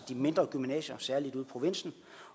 mindre gymnasier særlig ude i provinsen